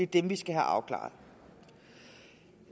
dem vi skal have afklaret